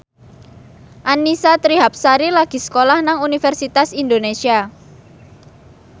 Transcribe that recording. Annisa Trihapsari lagi sekolah nang Universitas Indonesia